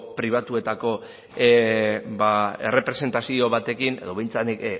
pribatuetako ba errepresentazio batekin edo behintzat nik